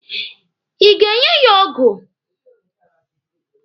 Ị ga-enye ya ọgụ?